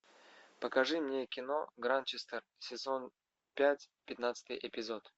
покажи мне кино гранчестер сезон пять пятнадцатый эпизод